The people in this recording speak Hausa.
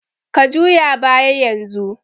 Ka juya baya yanzu!